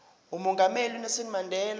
umongameli unelson mandela